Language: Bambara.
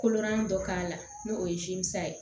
Kolonan dɔ k'a la n'o ye ye